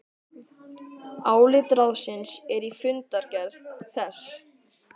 Álit ráðsins er í fundargerð þess